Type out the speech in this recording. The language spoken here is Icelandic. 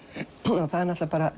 og það er